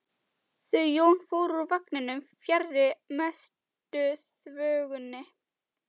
Þau Jón fóru úr vagninum fjarri mestu þvögunni.